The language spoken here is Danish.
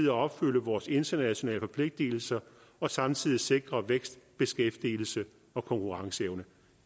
at opfylde vores internationale forpligtigelser og samtidig sikrer vækst beskæftigelse og konkurrenceevne